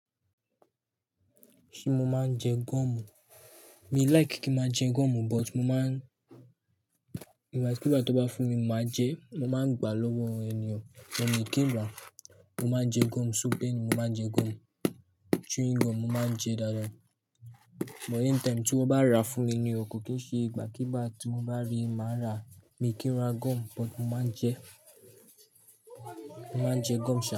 Ṣé mo máa ń jẹ gọ́ọ̀mù? Mi like kí máa jẹ gọ́ọ̀mú o but mo máa ń, in fact kí bá ti ọ bá fún mi, mo máa jẹ, mo máa ń gbà lọ́wọ́ ènìyàn. Ṣùgbọ́n mí kí n rà, mo máa ń jẹ gọ́ọ̀mú, so bẹ́éni mo máa ń jẹ gọ́ọ̀mú. Chewing gum mo máa ń jẹ dada. But anytime tí wọ́n bá ra fún mi ni o, kò kì í ṣe ìgbà kígbá tí mo bá rí i máa ra. Mi kí n ra gọ́ọ̀mú but mo máa ń jẹ, mo máa ń jẹ gọ́ọ̀mú ṣa.